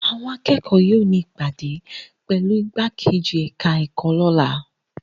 Àwọn akẹ́kọ̀ọ́ yóò ní ìpàdé pẹ̀lú ìgbákejì ẹ̀ka-ẹ̀kọ́ lọ́la.